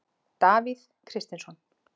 Davíð Kristinsson.